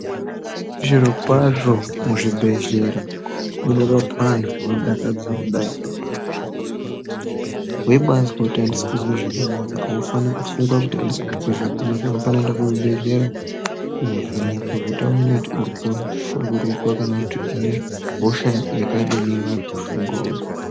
Zvirokwazvo muzvibhedhlera, munorapwa anhu zvinodakadza kudayi, weyibazwa kuti andisi kuzwa zvakanaka ,awufaniri kufunga kuti andisi kuzwa zvakanaka, unofanira kuenda kuzvibhedhlera kovhenekwa kuti awone kuti uri kushungurudzwa kana kuti une hosha yakadini iri kukushungurudza.